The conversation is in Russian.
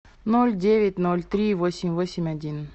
ноль девять ноль три восемь восемь один